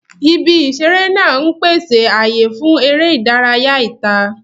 Ibi ìṣeré náà ń pèsè ààyè fún eré ìdárayá ìta.